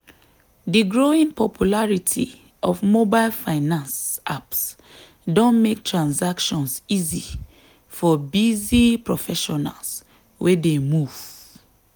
di growing popularity of mobile finance apps don make transactions easier for busy professionals wey dey move.